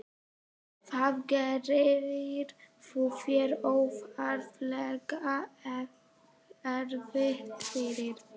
Þá gerir þú þér óþarflega erfitt fyrir.